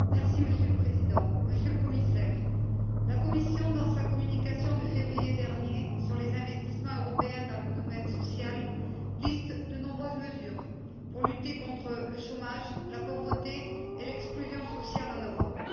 Monsieur le Président, Monsieur le Commissaire, la Commission, dans sa communication de février dernier sur les investissements européens dans le domaine social, liste de nombreuses mesures visant à lutter contre le chômage, la pauvreté et l'exclusion sociale en Europe.